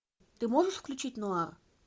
ты можешь включить нуар